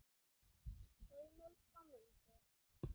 Heimild og myndir